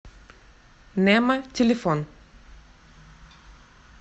немо телефон